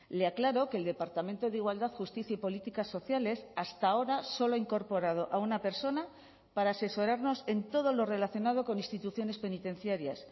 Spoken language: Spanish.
le aclaro que el departamento de igualdad justicia y políticas sociales hasta ahora solo ha incorporado a una persona para asesorarnos en todo lo relacionado con instituciones penitenciarias